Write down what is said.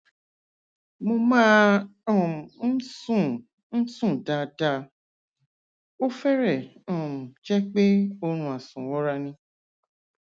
mo máa um ń sùn ń sùn dáadáa ó fẹrẹẹ um jẹ pé oorun àsùnwọra ni